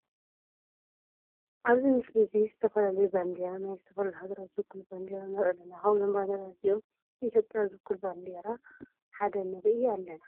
ኣብዚ ምስሊ እዚ ዝተፈላለዩ ባንዴራ ናይ ዝተፈላለዩ ሃገራት ዝውክሉ ባንዴራ ንርኢ ኣለና። ካብዞም ባንዴራታት እዚኦም ንኢትዮጵያ ዝውክል ባንዳራ ሓደ ንርኢ ኣለና።